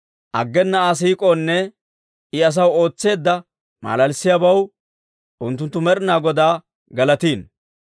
Aggena Aa siik'oonne I asaw ootseedda malalissiyaabaw unttunttu Med'inaa Godaa galatino.